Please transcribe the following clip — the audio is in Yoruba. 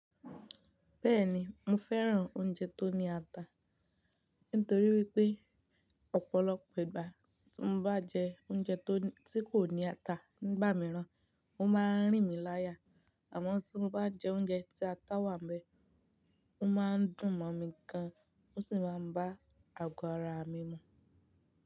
Bẹ́ẹ̀ni, mo fẹ́ràn oúnjẹ tó ní ata, nítorí wípé ọ̀pọ̀lọpọ̀ ìgbà tí mo bá jẹ oúnjẹ tí kò ní ata nígbà mìíràn, ó máa ń rìn mí láyà, àmọ́ tí mo bá jẹ oúnjẹ tí ata wà níbẹ̀, ó máa ń dùn mọ̀ mí gan, ó sì máa ń bá àgọ́ ara mi mu.